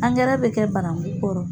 Angɛrɛ bɛ kɛ banangu kɔrɔ.